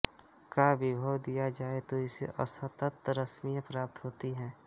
का विभव दिया जाए तो इससे असतत रश्मियाँ प्राप्त होती हैं